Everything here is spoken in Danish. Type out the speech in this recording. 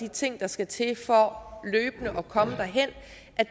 ting der skal til for løbende at komme derhen